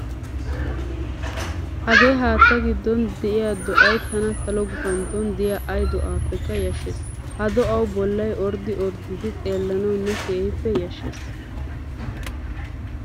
Hagee haattaa giddon diyaa do'ayi tana salo gupantton diyaa ayi do'aappekka yashshes. Ha do'awu bollay orddii orddidi xeellanawunna keehippe yashshes.